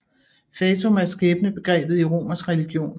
Fatum er skæbnebegrebet i romersk religion